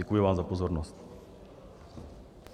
Děkuji vám za pozornost.